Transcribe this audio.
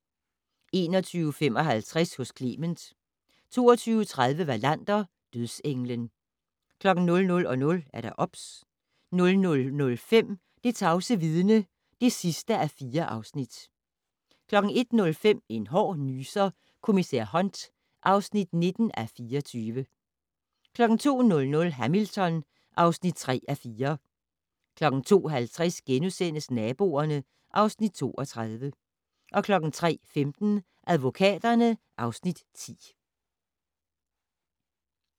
21:55: Hos Clement 22:30: Wallander: Dødsenglen 00:00: OBS 00:05: Det tavse vidne (4:4) 01:05: En hård nyser: Kommissær Hunt (19:24) 02:00: Hamilton (3:4) 02:50: Naboerne (Afs. 32)* 03:15: Advokaterne (Afs. 10)